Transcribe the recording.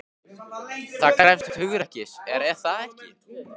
Það krefst hugrekkis, er það ekki?